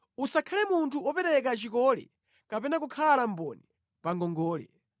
Usakhale munthu wopereka chikole kapena kukhala mboni pa ngongole;